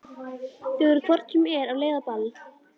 Þau eru hvort sem er á leið á ball.